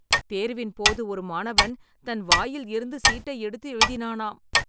தேர்வின்போது, ஒரு மாணவன், தன் வாயில் இருந்து சீட்டை எடுத்து எழுதினானாம்